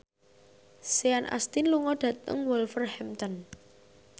Sean Astin lunga dhateng Wolverhampton